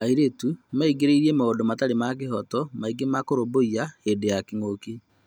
Airĩtu maingĩrĩire maũndũ matarĩ makĩhooto maingĩ ma kũrũmbũiya hĩndĩ ya kĩng'ũki.